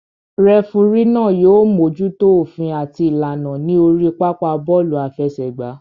Rẹfurí náà yóò mójútó òfin àti ìlànà ní orí pápá bọ́ọ̀lù àfẹsẹ̀gbá